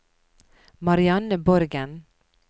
Marianne Borgen